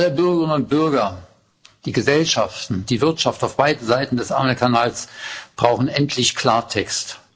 Alle Bürgerinnen und Bürger, die Gesellschaften, die Wirtschaft auf beiden Seiten des Ärmelkanals brauchen endlich Klartext.